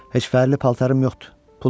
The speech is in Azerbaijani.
Heç fərli paltarım yoxdur.